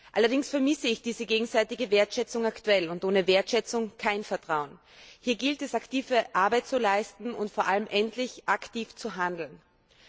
Allerdings vermisse ich derzeit diese gegenseitige Wertschätzung und ohne Wertschätzung kein Vertrauen! Hier gilt es, aktive Arbeit zu leisten und vor allem endlich aktiv zu werden.